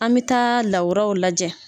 An mi taa lawuraw lajɛ